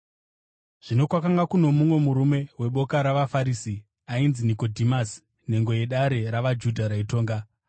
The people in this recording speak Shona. Zvino kwakanga kuno mumwe murume weboka ravaFarisi ainzi Nikodhimasi, nhengo yedare ravaJudha raitonga.